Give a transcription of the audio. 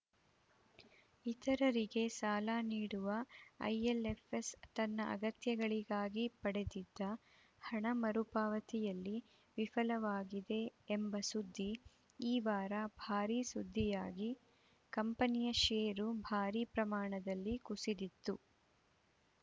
ಇತರರಿಗೆ ಸಾಲ ನೀಡುವ ಐಎಲ್‌ಎಫ್‌ಎಸ್‌ ತನ್ನ ಅಗತ್ಯಗಳಿಗಾಗಿ ಪಡೆದಿದ್ದ ಹಣ ಮರುಪಾವತಿಯಲ್ಲಿ ವಿಫಲವಾಗಿದೆ ಎಂಬ ಸುದ್ದಿ ಈ ವಾರ ಭಾರೀ ಸುದ್ದಿಯಾಗಿ ಕಂಪನಿಯ ಷೇರು ಭಾರೀ ಪ್ರಮಾಣದಲ್ಲಿ ಕುಸಿದಿತ್ತು